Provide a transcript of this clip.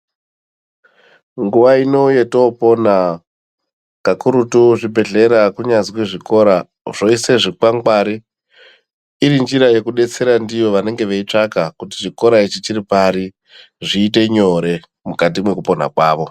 Nguwa inei yotoopona kakurutu kuzvibhedhleya kunyazi zvikora zvinoise zvikwangwari iri nzira yekudetsera ndiyo vanenge vetscaka kuti chikora ichi chiri pari zviite nyore mukati mwekupona kwavo.